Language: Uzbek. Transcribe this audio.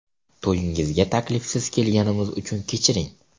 To‘yingizga taklifsiz kelganimiz uchun kechiring.